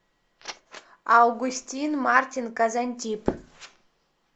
августин мартин казантип